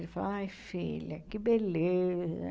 Ele falava, ai filha, que beleza.